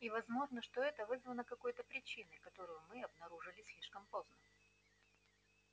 и возможно что это вызвано какой то причиной которую мы обнаружили слишком поздно